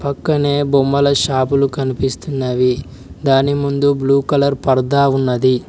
పక్కనే బొమ్మల షాపులు కనిపిస్తున్నవి దాని ముందు బ్లూ కలర్ పర్ధా ఉన్నది.